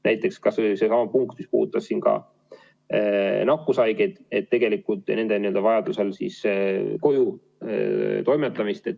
Näiteks kas või seesama punkt, mis puudutab nakkushaigete vajaduse korral kojutoimetamist.